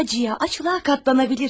Acıya, aclığa qatlanabildik.